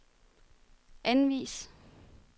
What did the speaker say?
anvis